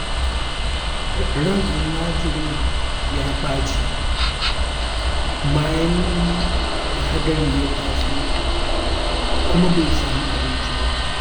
Ran almajirin ya ɓaci, bayan da hadari ya taso, kuma bai sami abinci ba.